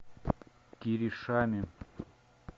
киришами